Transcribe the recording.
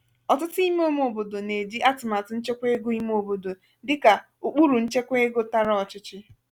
ọtụtụ ímé ímé obodo na-eji atụmatụ nchekwa ego ime obodo dịka ụkpụrụ nchekwa ego tara ọchịchị.